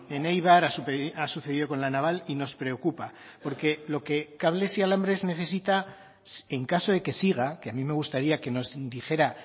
en eibar ha sucedido con la naval y nos preocupa porque lo que cables y alambres necesita en caso de que siga que a mí me gustaría que nos dijera